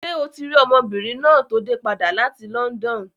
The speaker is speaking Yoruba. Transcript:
Ṣé o ti rí ọmọbìnrin náà tó dé padà láti London?